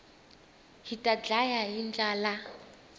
hita ndlaya hi ndlala